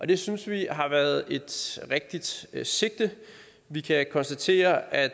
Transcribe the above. det synes vi har været et rigtigt sigte sigte vi kan konstatere at